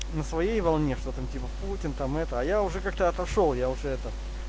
на своей волне что там типа путин там это я уже как-то отошёл я уже это